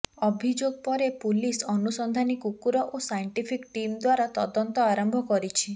ଅଭିଯୋଗ ପରେ ପୁଲିସ ଅନୁସନ୍ଧାନୀ କୁକୁର ଓ ସାଇଣ୍ଟିଫିକ୍ ଟିମ୍ ଦ୍ୱାରା ତଦନ୍ତ ଆରମ୍ଭ କରିଛି